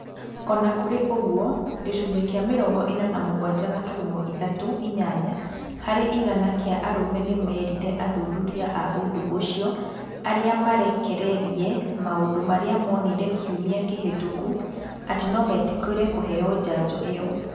Ona kũrĩ ũguo, gĩcũnjĩ kĩa mĩrongo ĩna na mũgwanja gaturumo ithatũ inyanya harĩ igana kĩa arũme nĩ merire athuthuria a ũndũ ũcio arĩa marekererie maũndu marĩa moonire kiumia kĩhĩtũku, atĩ no metĩkĩre kũheo njanjo ĩo.